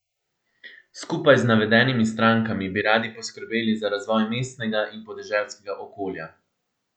Skupaj z navedenimi strankami bi radi poskrbeli za razvoj mestnega in podeželskega okolja.